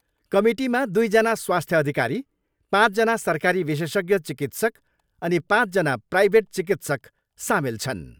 कमिटीमा दुइजना स्वास्थ्य अधिकारी, पाँचजना सरकारी विशेषज्ञ चिकित्सक अनि पाँचजना प्राइभेट चिकित्सक सामेल छन्।